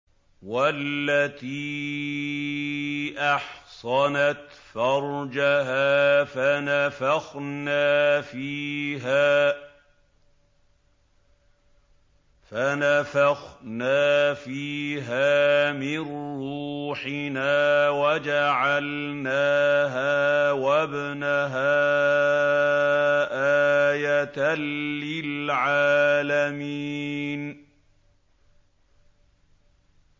وَالَّتِي أَحْصَنَتْ فَرْجَهَا فَنَفَخْنَا فِيهَا مِن رُّوحِنَا وَجَعَلْنَاهَا وَابْنَهَا آيَةً لِّلْعَالَمِينَ